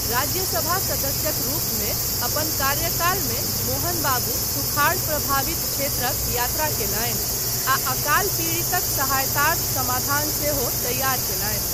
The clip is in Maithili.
राज्यसभा सदस्यक रूपमे अपन कार्यकालमे मोहन बाबू सुखाड़ प्रभावित क्षेत्रक यात्रा कयलनि आ अकाल पीड़ितक सहायतार्थ समाधान सेहो तैयार कयलनि।